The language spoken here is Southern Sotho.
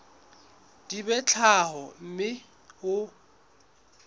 di be tharo mme o